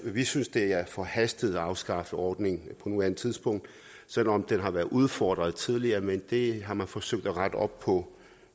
vi synes det er forhastet at afskaffe ordningen på nuværende tidspunkt selv om den har været udfordret tidligere men det har man forsøgt at rette op på